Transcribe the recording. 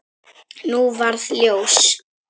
Nú varð ljós.